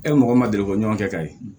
E ni mɔgɔ min ma deli ko ɲɔgɔn kɛ ka ye